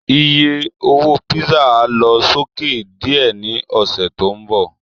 Iye owó písà á lọ sókè díẹ̀ ní ọ̀sẹ̀ tó ń bọ̀